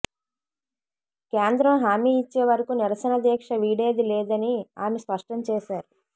కేంద్రం హామీ ఇచ్చే వరకు నిరసన దీక్ష వీడేది లేదని ఆమె స్పష్టం చేశారు